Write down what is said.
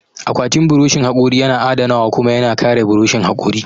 Akwatin buroshin haƙori yana adanawa kuma yana kare buroshin haƙori.